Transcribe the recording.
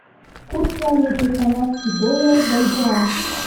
курс валюты канадский доллар бальбоа